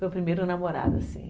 Foi o primeiro namorado, assim.